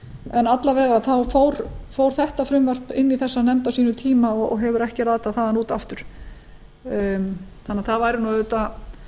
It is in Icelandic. en alla vega fór þetta frumvarp inn í þessa nefnd á sínum tíma og hefur ekki ratað þaðan út aftur þannig að það væri auðvitað